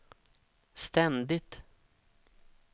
ständigt